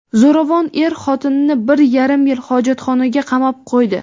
Zo‘ravon er xotinini bir yarim yil hojatxonaga qamab qo‘ydi.